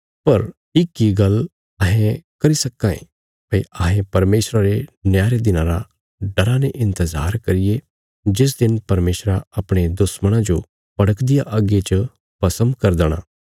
पर इक इ गल्ल अहें करी सक्कां ये भई अहें परमेशरा रे न्याय रे दिना रा डरा ने इन्तजार करिये जिस दिन परमेशरा अपणे दुश्मणां जो भड़कदिया अग्गी च भस्म करी देणा